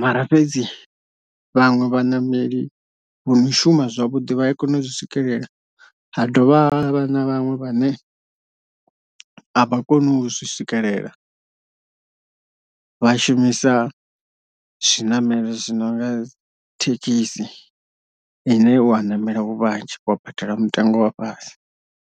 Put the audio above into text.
mara fhedzi vhaṅwe vhaṋameli vho no shuma zwavhuḓi vha a kone u zwi swikelela ha dovha ha vha na vhaṅwe vhane avha koni u zwi swikelela vha shumisa zwi ṋamelo zwi nonga thekhisi ine u a namela hu vhanzhi wa badela mutengo wa fhasi.